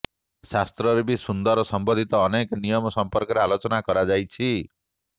ଶାସ୍ତ୍ରରେ ବି ସିନ୍ଦୁର ସମ୍ବନ୍ଧିତ ଅନେକ ନିୟମ ସଂପର୍କରେ ଆଲୋଚନା କରାଯାଇଛି